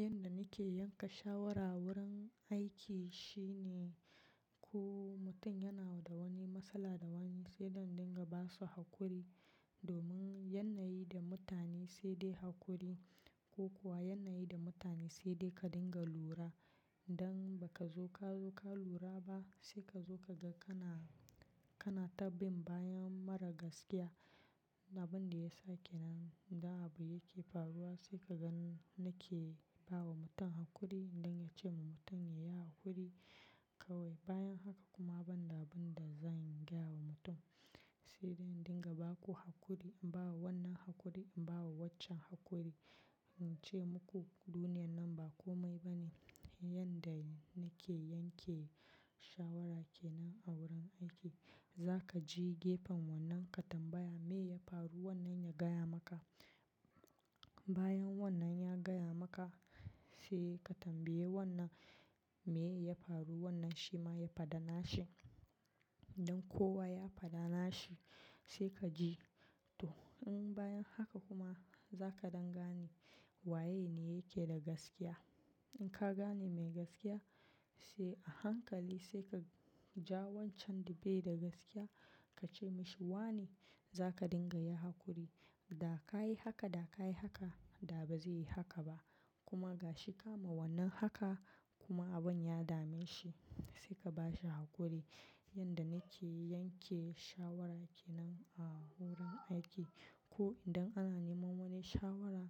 Yanda nake yanka shawara wurin aiki shine, ko mutum yana da wani matsala da wani sai zan dinga basu hakuri. Domin yanayi da mutane sai dai hakuri ko kuwa yanayi da mutane sai dai ka dinga lura. Idan baka zo ka yi lura ba, sai kazo kaga kana ta bin bayan mara gaskiya abunda yasa kenan idan abu yake faruwa sai kaga nake bawa mutum hakuri, don ince ma mutum yayi hakuri kawaii. Bayan haka kuma ban da abin da zan gaya wa mutum sai dai in dinga baku hakuri. In bawa wannan hakuri, in bawa waccan hakuri, in ce muku duniyar nan ba komai bane. Yanda nake yanke shawara kenan a wurin aiki, za ka je gefen wannan ka tambaya meye ya faru wannan ya gaya maka. Bayan wannan ya gaya maka sai ka tambaye wannan meye ya faru wannan shi ma ya fada nashi. Dan kowa ya fada nashi sai ka ji to. Bayan haka kuma za ka dangane waye ne yake da gaskiya. In ka gane mai gaskiya sai a hankali sai ka ja wancan da bai da gaskiya ka ce mashi wane za ka dinga yin hakuri. Da ka yi haka, da ka yi haka da ba zai yi haka ba kuma gashi ka ma wannan aka, kuma abun ya dameshi, sai ka bashi hakuri. Yanda nake yanke shawara kenan a wurin aiki ko idan ana nema wani shawara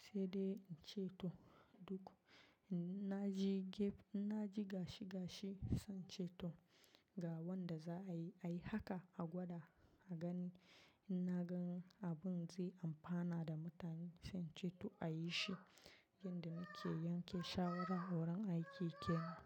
sai dai in ce to duk in na ji gefe, in na ji gashi gashi sai in ce to. Ga wanda za ayi, ayi haka a gwada a gani. In na gan abun zai amfana da mutane sai ince to a yi shi. Yanda nake yanke shawara wurin aiki kenan.